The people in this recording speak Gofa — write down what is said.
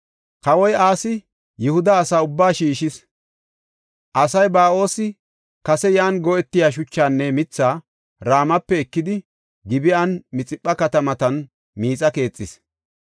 Kawoy Asi Yihuda asaa ubbaa shiishis; asay Ba7oosi kase yan go7etiya shuchaanne mithaa Ramape ekidi Gib7anne Mixipha katamatan miixa keexis.